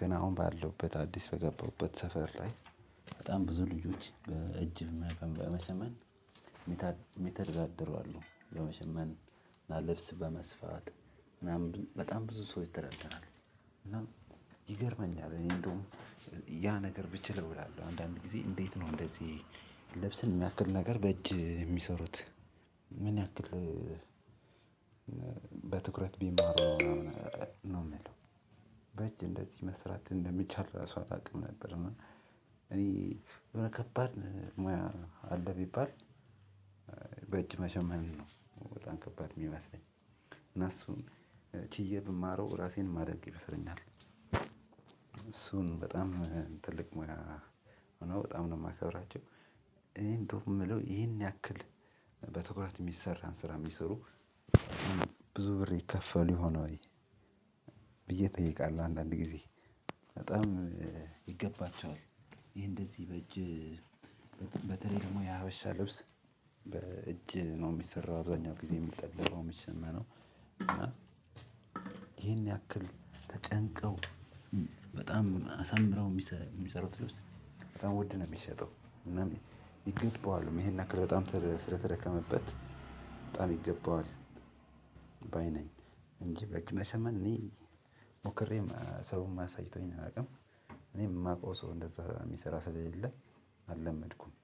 ግን አሁን ባለውበት አዲስ በገባሁበት ሰፈር ላይ በጣም ብዙ ልጆች በእጅህ መቅ በመሸመን የሚተዳደሩ አሉ በመሸመን እና ልብስ በመስፋት ምናምን በጣም ብዙ ሰው ይተዳደራል። እና ይገርመኛል እኔ እንደውም ያ ነገር ብችለው እላለሁ። አንዳንድ ጊዜ እንዴት ነው? እንደዚህ ልብስን ያክል ነገር በእጅ የሚሰሩት? ምን ያክል በትኩረት ቢማሩ ነው የምንለው። በእጅ እንደዚህ መስራት እንደሚቻል ራሱ አላውቅም ነበር። እና እኔ ከባድ ሙያ አለ ቢባል በእጅ መሸመንን ነው በጣም ከባል የሚመስለኝ። እና እሱን ችዬ ብማረው ራሴን ማደንቅ ይመስለኛል። እሱን በጣም ትልቅ ሙያ ሆኖ በጣም ነው የማከብራቸው። እኔ እንደውም የምለው ይሄን ያክል በትኩረት የሚሰራን ስራ የሚሰሩ ብዙ ብር ይከፈል ይሆን ወይ? ብዬ እጠይቃለሁ አንዳንድ ጊዜ። በጣም ይገባቸዋል። ይሄ እንደዚህ በእጅ በተለይ ደግሞ የሀበሻ ልብስ በእጅ ነው የሚሰራው አብዛኛው ጊዜ የሚጠለለው የሚሸመነው። እና ይሄን ያክል ተጨንቀው በጣም አሳምረው የሚሰሩት ልብስ በጣም ውድ ነው የሚሸጠው። እና ይገባዋልም ይሄን ያክል በጣም ስለተደከመበት በጣም ይገባዋል ባይ ነኝ። እንጂ መሸመን እኔ ሞክሬም ሰውም አሳይቶኝ አያውቅም። እኔም የማውቀው ሰው እንደዛ የሚሰራ ስለሌለ አለመድኩም።